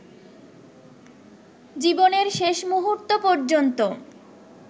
জীবনের শেষ মুহূর্ত পর্যন্ত